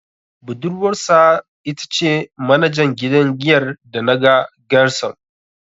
Budurwarsa ita ce manajan gidan giyar da naga Gershom.